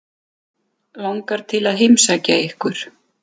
Langar til að heimsækja ykkur.